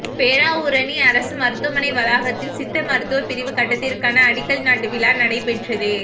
பேராவூரணி அரசு மருத்துவமனை வளாகத்தில் சித்த மருத்துவ பிரிவு கட்டடத்திற்கான அடிக்கல் நாட்டு விழா நடைபெற்றது